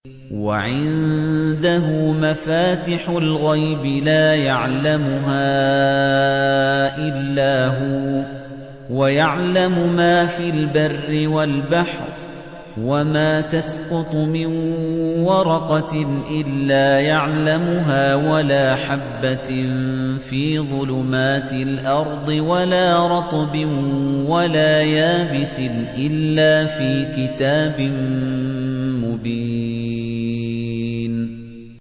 ۞ وَعِندَهُ مَفَاتِحُ الْغَيْبِ لَا يَعْلَمُهَا إِلَّا هُوَ ۚ وَيَعْلَمُ مَا فِي الْبَرِّ وَالْبَحْرِ ۚ وَمَا تَسْقُطُ مِن وَرَقَةٍ إِلَّا يَعْلَمُهَا وَلَا حَبَّةٍ فِي ظُلُمَاتِ الْأَرْضِ وَلَا رَطْبٍ وَلَا يَابِسٍ إِلَّا فِي كِتَابٍ مُّبِينٍ